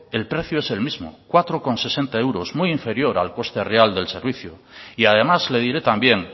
el precio es el mismo cuatro coma sesenta euros muy inferior al coste real del servicio y además le diré también